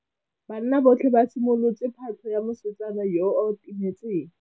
Banna botlhê ba simolotse patlô ya mosetsana yo o timetseng.